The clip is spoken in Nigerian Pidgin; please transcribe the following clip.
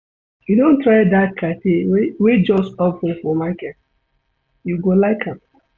You don try dat cafe wey just open for market? You go like am.